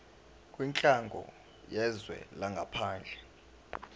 kwinhlangano yezwe langaphandle